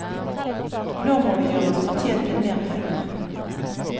Nå må vi gjøre oss fortjent til mer penger.